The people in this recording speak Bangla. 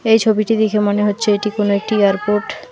এই ছবিটি দেখে মনে হচ্ছে এটি কোন একটি এয়ারপোর্ট ।